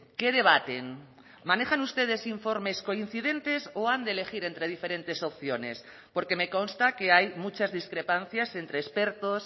qué debaten manejan ustedes informes coincidentes o han de elegir entre diferentes opciones porque me consta que hay muchas discrepancias entre expertos